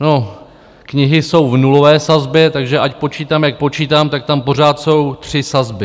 No, knihy jsou v nulové sazbě, takže ať počítám, jak počítám, tak tam pořád jsou tři sazby.